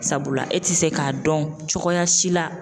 Sabula e ti se ka dɔn cogoya si la